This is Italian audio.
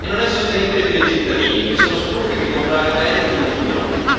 e non è sostenibile per i cittadini, che sono stufi di comprare beni che non durano.